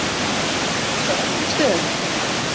Eða kannski á öllum stöðum?